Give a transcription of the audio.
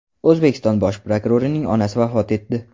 O‘zbekiston bosh prokurorining onasi vafot etdi.